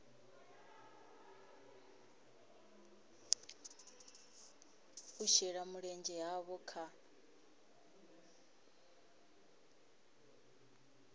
u shela mulenzhe havho kha